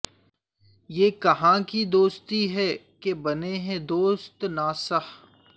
یہ کہاں کی دوستی ہے کہ بنے ہیں دوست ناصح